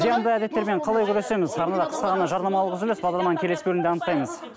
зиянды әдеттермен қалай күресеміз арнада қысқа ғана жарнамалық үзіліс бағдарламаның келесі бөлімінде анықтаймыз